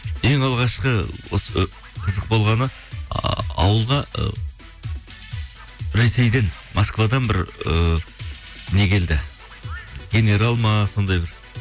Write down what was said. ең алғашқы осы ы қызық болғаны а ауылға ы ресейден москвадан бір ыыы не келді генерал ма сондай бір